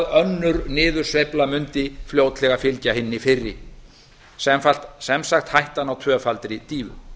önnur niðursveifla mundi fljótlega fylgja hinni fyrri sem sagt hættan á tvöfaldri dýfu